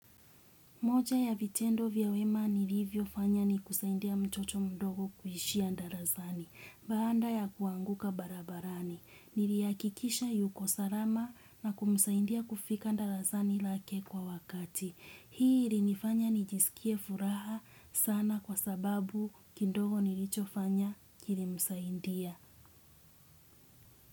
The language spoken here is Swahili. Moja ya vitendo vya wema nilivyo fanya ni kusaindia mtoto mdogo kuhishia ndarasani. Baanda ya kuanguka barabarani. Nilihakikisha yuko salama na kumusaindia kufika ndarasani lake kwa wakati. Hii ili nifanya nijisikie furaha sana kwa sababu kidogo nilicho fanya kili msaindia.